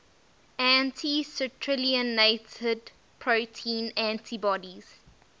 anti citrullinated protein antibodies